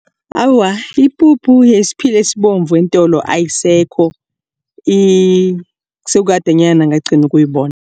Awa, ipuphu yesiphila esibovu eentolo ayisekho sekadenyana ngagcina ukuyibona.